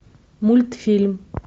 мультфильм